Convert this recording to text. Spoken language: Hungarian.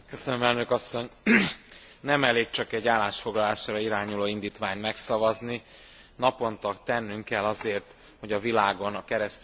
Nem elég csak egy állásfoglalásra irányuló indítványt megszavazni, naponta tennünk kell azért, hogy a világon a keresztényeket ne érje üldözés.